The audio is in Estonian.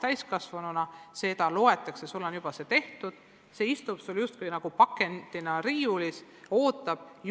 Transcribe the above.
Loetakse, et sul on need nõuded täidetud, see valmisolek istub sul justkui pakendina riiulis ja ootab.